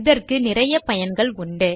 இதற்கு நிறைய பயன்கள் உண்டு